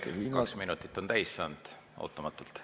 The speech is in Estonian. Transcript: Hea kolleeg, kaks minutit on ootamatult täis saanud.